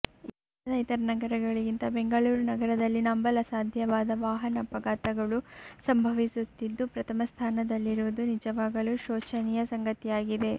ಭಾರತದ ಇತರ ನಗರಗಳಿಗಿಂತ ಬೆಂಗಳೂರು ನಗರದಲ್ಲಿ ನಂಬಲು ಅಸಾಧ್ಯವಾದ ವಾಹನ ಅಪಘಾತಗಳು ಸಂಭವಿಸುತ್ತಿದ್ದು ಪ್ರಥಮ ಸ್ಥಾನದಲ್ಲಿರುವುದು ನಿಜವಾಗಲೂ ಶೋಚನೀಯ ಸಂಗತಿಯಾಗಿದೆ